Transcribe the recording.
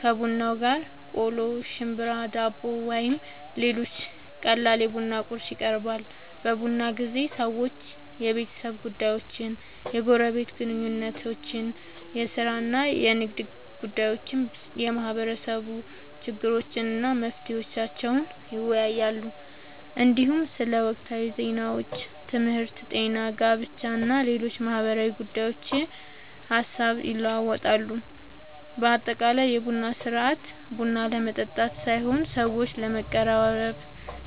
ከቡናው ጋር ቆሎ፣ ሽምብራ፣ ዳቦ ወይም ሌሎች ቀላል የቡና ቁርስ ይቀርባል። በቡና ጊዜ ሰዎች የቤተሰብ ጉዳዮችን፣ የጎረቤት ግንኙነቶችን፣ የሥራ እና የንግድ ጉዳዮችን፣ የማህበረሰብ ችግሮችን እና መፍትሄዎቻቸውን ይወያያሉ። እንዲሁም ስለ ወቅታዊ ዜናዎች፣ ትምህርት፣ ጤና፣ ጋብቻ እና ሌሎች ማህበራዊ ጉዳዮች ሐሳብ ይለዋወጣሉ። በአጠቃላይ የቡና ሥርዓት ቡና ለመጠጣት ሳይሆን ሰዎችን ለማቀራረብ፣